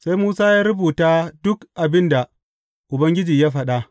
Sai Musa ya rubuta duk abin da Ubangiji ya faɗa.